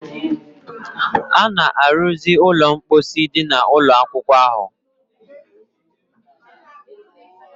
A na-arụzi ụlọ mposi dị n'ụlọ akwụkwọ ahụ